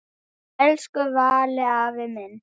Elsku Valli afi minn.